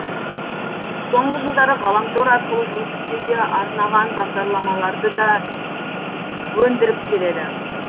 соңғы жылдары ғаламтор арқылы жұмыс істеуге арнаған бағдарламаларды да өндіріп келеді